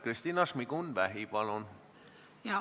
Kristina Šmigun-Vähi, palun!